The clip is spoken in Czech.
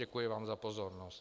Děkuji vám za pozornost.